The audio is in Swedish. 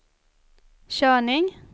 körning